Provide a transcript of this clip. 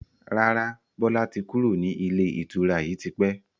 Rárá, Bọlá tí kúrò ní ilé ìtura yìí tipẹ́